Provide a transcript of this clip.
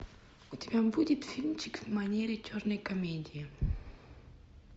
у тебя будет фильмчик в манере черной комедии